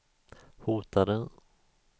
hotade